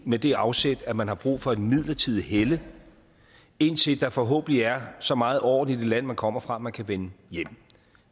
med det afsæt at man har brug for et midlertidigt helle indtil der forhåbentlig er så meget orden i det land man kommer fra at man kan vende hjem